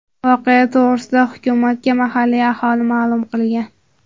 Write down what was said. Voqea to‘g‘risida hukumatga mahalliy aholi ma’lum qilgan.